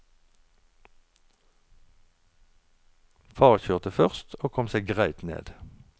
Far kjørte først, og kom seg greitt ned.